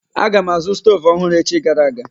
Aga m azụ stoovu ọhụrụ echi gara aga.